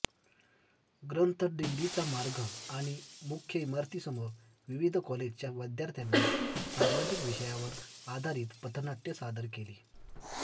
ग्रंथदिंडीचा मार्ग आणि मुख्य इमारतीसमोर विविध कॉलेजच्या विद्यार्थ्यांनी सामाजिक विषयावर आधारित पथनाट्य सादर केली